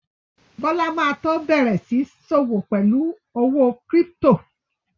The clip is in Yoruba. Bọ́lá ma tó bẹ̀rẹ̀ sí ń sọ́wọ́ pẹ̀lú owó kírípítò